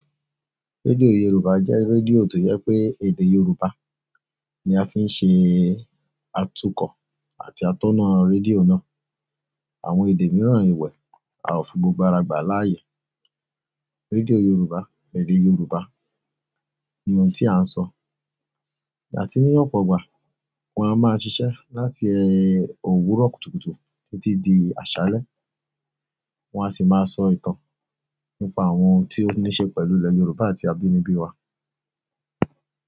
Rédíò Yorùbá jẹ́ rédíò tó yẹ pé èdè Yorùbá ni a fi ń ṣe atukọ̀ àti atónà rédíò náà. Àwọn èdè mìíràn ìwẹ̀ àfún gbogbo aràgbà láàyè. Rédíò Yorùbá, èdè Yorùbá ni ohun tí à ń sọ. Yà tí ní ọ̀pọ̀ ọgbà, wọ́n a máa ṣiṣẹ́ láti òwúrọ̀ kùtùkùtù títí di àṣálẹ́. Wọn a sì máa sọ ìtàn nípa àwọn tí ó ní ṣe pẹ̀lú ilẹ̀ Yorùbá àti abínibí wa.